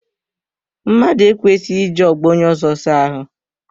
Mmadụ ekwesighi iji ogbo onye ọzọ saa ahụ.